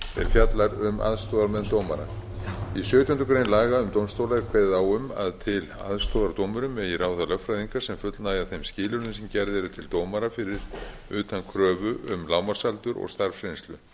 fjallar um aðstoðarmenn dómara í sautjándu grein laga um dómstóla er kveðið á um að til aðstoðar dómurum megi ráða lögfræðinga sem fullnægja þeim skilyrðum sem gerð eru til dómara fyrir utan kröfu um lágmarksaldur og starfsreynslu